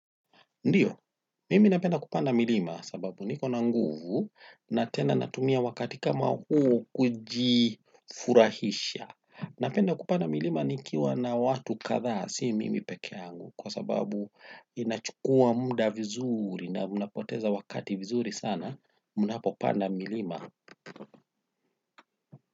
Ndiyo, mimi napenda kupanda milima sababu niko nanguvu, natena natumia wakati kama huo kujifurahisha. Napenda kupanda milima nikiwa na watu katha, si mimi peke yangu kwa sababu inachukua muda vizuri na mnapoteza wakati vizuri sana, munapo panda milima.